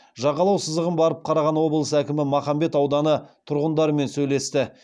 жағалау сызығын барып қараған облыс әкімі махамбет ауданы тұрғындарымен сөйлесті